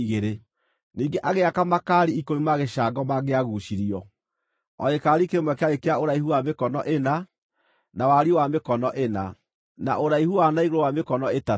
Ningĩ agĩaka makaari ikũmi ma gĩcango mangĩaguucirio; o gĩkaari kĩmwe kĩarĩ kĩa ũraihu wa mĩkono ĩna, na wariĩ wa mĩkono ĩna, na ũraihu wa na igũrũ wa mĩkono ĩtatũ.